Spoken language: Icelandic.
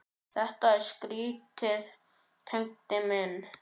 Þetta er skrýtið Tengdi minn.